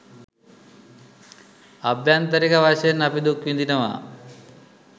අභ්‍යන්තරික වශයෙන් අපි දුක් විඳිනවා